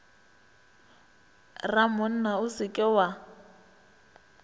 ramonna o se ke wa